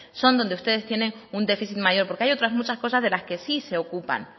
son donde ustedes tienen un déficit mayor porque hay otras muchas cosas de las que sí se ocupan